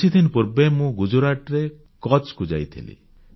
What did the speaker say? କିଛିଦିନ ପୂର୍ବେ ମୁଁ ଗୁଜରାଟର କଚ୍ଛକୁ ଯାଇଥିଲି